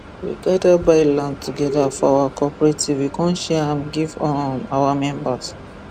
we gada buy land togeda for our cooperative we come share am give um our members